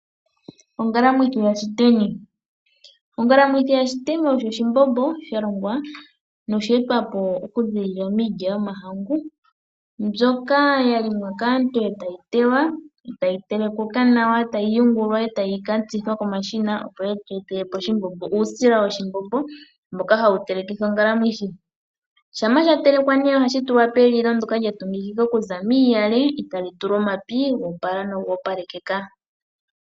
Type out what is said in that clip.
Ongakamwithi yashiteni Ongalamwithi yashiteni oyo oshimbombo shalongwa nosha etwapo okuza miilya yomahangu mbyoka yalimwa kaantu ee tayi tewa nokutelekukwa, tayi yungulwa, tayi ka tsithwa komashina, opo yitu etelepo uusila woshimbombo mboka hawu telekithwa ongalamwithi yashiteni. Shampa shatelekwa ohashi tulwa pelilo ndoka lyatungikika okuza miiyale eetali tulwa omapi goopala noga opalekeka.